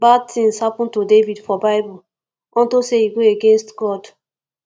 bad things happen to david for bible unto say he go against god